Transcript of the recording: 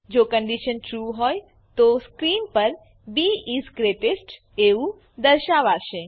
જો condition true હોય તો સ્ક્રીન પર બી ઇસ ગ્રેટેસ્ટ એવું દર્શાવાશે